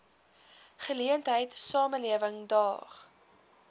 geleentheid samelewing daag